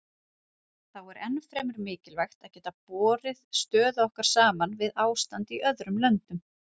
Þá er ennfremur mikilvægt að geta borið stöðu okkar saman við ástand í öðrum löndum.